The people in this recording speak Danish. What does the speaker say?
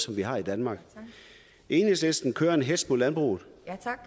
vi har i danmark enhedslisten kører en hetz mod landbruget